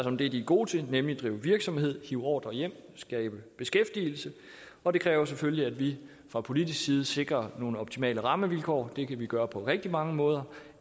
om det de er gode til nemlig at drive virksomhed hive ordrer hjem og skabe beskæftigelse og det kræver selvfølgelig at vi fra politisk side sikrer nogle optimale rammevilkår det kan vi gøre på rigtig mange måder